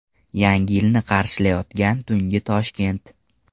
Yangi yilni qarshilayotgan tungi Toshkent .